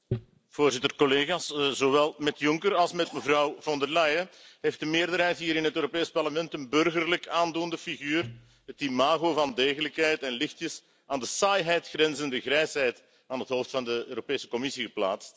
Voorzitter, collega's, zowel met Juncker als met mevrouw Von der Leyen heeft de meerderheid hier in het Europees Parlement een burgerlijk aandoende figuur, het imago van degelijkheid en lichtjes aan de saaiheid grenzende grijsheid aan het hoofd van de Europese Commissie geplaatst.